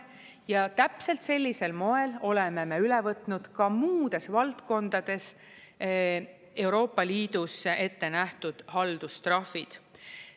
Ja täpselt sellisel moel oleme me üle võtnud ka muudes valdkondades Euroopa Liidus ette nähtud haldustrahvid.